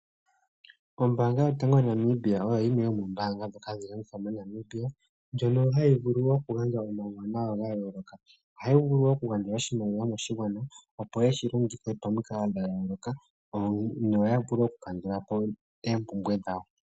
Ombaanga yotango yopashigwana oyo yimwe yomombaanga ndhoka hadhi longithwa moNamibia. Ohayi vulu oku gandja omauwanawa ga yooloka. Ohayi gandja wo oshimaliwa moshigwana yeshi longithe momikalo dha yooloka noya vule okukandulapo oompumbwe dhawo.